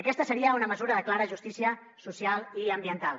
aquesta seria una mesura de clara justícia social i ambiental